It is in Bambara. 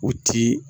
U ti